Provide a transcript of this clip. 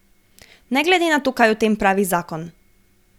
Ne glede na to, kaj o tem pravi zakon.